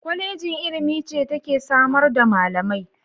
Kwallejin ilimi ce take samar da malamai.